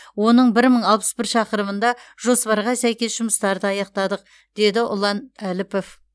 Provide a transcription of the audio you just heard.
оның бір мың алпыс бір шақырымында жоспарға сәйкес жұмыстарды аяқтадық деді ұлан әліпов